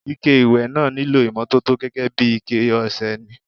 Ike ìwẹ̀ náà nílò ìmọ́tótó gẹ́gẹ́ bí iké ọṣẹ ni.